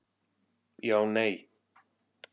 Já Nei